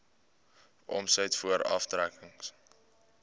omset voor aftrekkings